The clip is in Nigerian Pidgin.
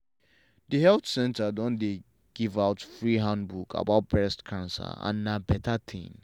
the health center don dey give out free handbook about breast cancer and na better thing.